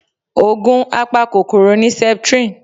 Ògùn apa kòkòrò ni Septrin